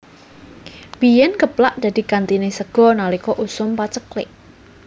Biyén geplak dadi gantiné sega nalika usum paceklik